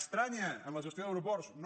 estranya en la gestió d’aeroports no